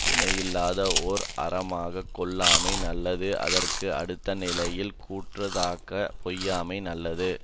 இணையில்லாத ஓர் அறமாகக் கொல்லாமை நல்லது அதற்கு அடுத்த நிலையில் கோட்றதாகப் பொய்யாமை நல்லது